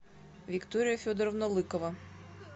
виктория федоровна лыкова